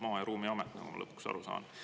Maa- ja Ruumiamet, olen ma lõpuks aru saanud.